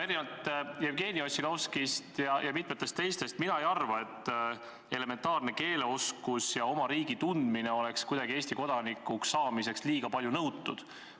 Erinevalt Jevgeni Ossinovskist ja mitmetest teistest mina ei arva, et elementaarne keeleoskus ja oma riigi tundmine oleks Eesti kodanikuks saamise nimel liiga palju nõutud.